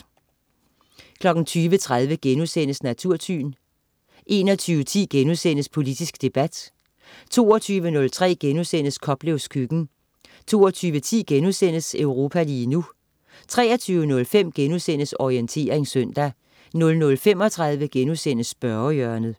20.30 Natursyn* 21.10 Politisk debat* 22.03 Koplevs køkken* 22.10 Europa lige nu* 23.05 Orientering søndag* 00.35 Spørgehjørnet*